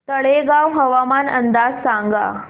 तळेगाव हवामान अंदाज सांगा